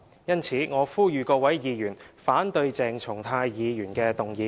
因此，我呼籲各議員反對鄭松泰議員的議案。